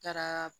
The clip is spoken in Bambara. Taara